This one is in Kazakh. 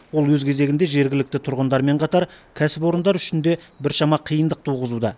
ол өз кезегінде жергілікті тұрғындармен қатар кәсіпорындар үшін де біршама қиындық туғызуда